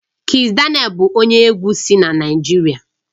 Kizz daniel bụ onye egwu si Naijiria